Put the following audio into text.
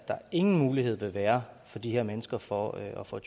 ingen mulighed vil være for de her mennesker for at få